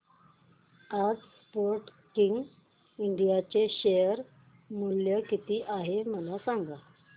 आज Sportking India चे share मूल्य किती आहे मला सांगा